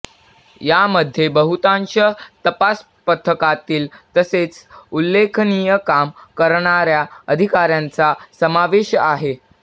यामध्ये बहुतांश तपास पथकातील तसेच उल्लेखनीय काम करणाऱ्या अधिकाऱ्यांचा समावेश आहे